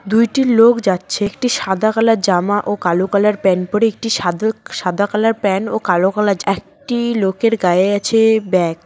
দুইটি লোক যাচ্ছে একটি সাদা কালার জামা ও কালো কালার প্যান পড়ে একটি সাদা সাদা কালার প্যান ও কালো কালার একটি লোকের গায়ে আছে ব্যাগ ।